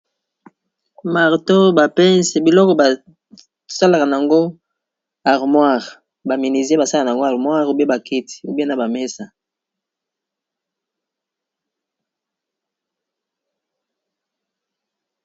Marteau, ba pinces, biloko ba salaka n'ango armoire, ba menuisier ba salaka n'ango armoire ou bien ba kiti ou bien na ba mesa .